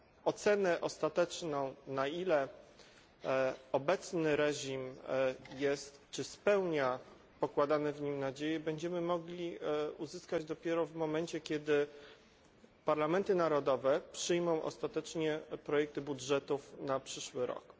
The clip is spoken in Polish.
Ocenę ostateczną, na ile obecny reżim spełnia pokładane w nim nadzieje, będziemy mogli uzyskać dopiero w momencie, kiedy parlamenty narodowe przyjmą ostatecznie projekty budżetów na przyszły rok.